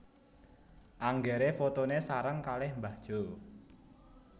Anggere fotone sareng kalih mbah Jo